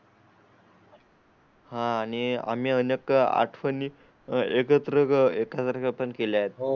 हां आणि आम्ही अनेक आठवणी एकत्र अर्पण केले आहेत.